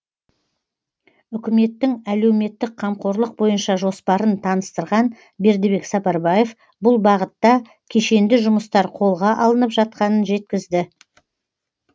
үкіметтің әлеуметтік қамқорлық бойынша жоспарын таныстырған бердібек сапарбаев бұл бағытта кешенді жұмыстар қолға алынып жатқанын жеткізді